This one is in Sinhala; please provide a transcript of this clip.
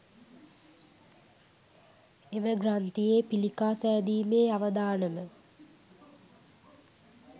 එම ග්‍රන්ථියේ පිළිකා සෑදීමේ අවදානම